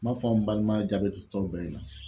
N m'a fɔ an balima jaabi tɔw bɛɛ ɲɛna